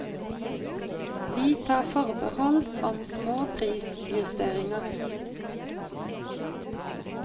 Vi tar forbehold om små prisjusteringer.